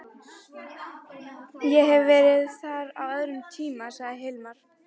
Ég hef verið þar á öðrum tíma, sagði Hilmar.